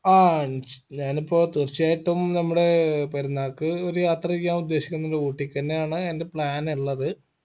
ആ ഞാനിപ്പോ തീർച്ചയായിട്ടും നമ്മുടെ ഏർ പെരുന്നാക്ക് ഒരു യാത്ര ചെയ്യാൻ ഉദ്ദേശിക്കുന്നുണ്ട് ഊട്ടിക്കെന്നെയാണ് എൻറെ plan ഇള്ളത്